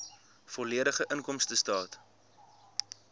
volledige inkomstestaat